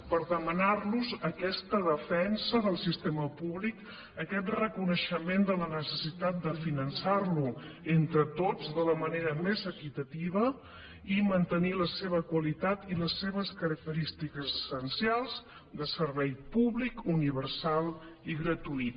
per demanar los aquesta defensa del sistema públic aquest reconeixement de la necessitat de finançar lo entre tots de la manera més equitativa i mantenir la seva qualitat i les seves característiques essencials de servei públic universal i gratuït